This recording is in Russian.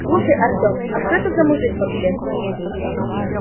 слушай артём а что это за мужик вообще